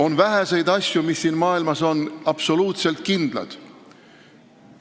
On vähe asju, mis siin maailmas on absoluutselt kindlad.